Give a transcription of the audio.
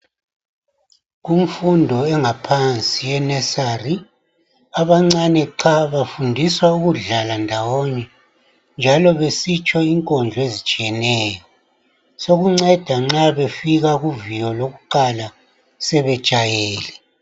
Kumfundo engaphansi ye nursery, abancane qha, bafundiswa ukudlala ndawonye, njalo besitsho inkondlo ezitshiyeneyo, sekunceda nxa befika kuviyo lokuqala, sebejayele.